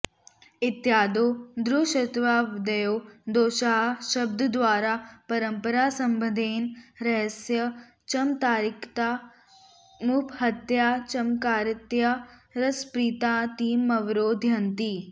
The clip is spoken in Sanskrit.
इत्यादौ दुःश्रवत्वादयो दोषाः शब्दद्वारा परम्परासम्बन्धेन रसस्य चमत्कारिता मुपहत्याचमत्कारितया रसप्रतीतिमवरोधयन्ति